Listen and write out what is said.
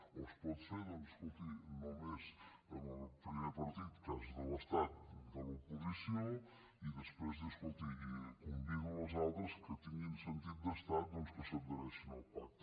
o es pot fer doncs escolti només amb el primer partit cas de l’estat de l’oposició i després dir escolti convido als altres que tinguin sentit d’estat doncs que s’adhereixin al pacte